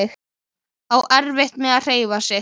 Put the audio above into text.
Á erfitt með að hreyfa sig.